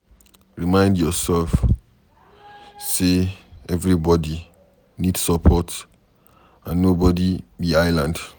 Remind yourself sey everybody need support and nobody be island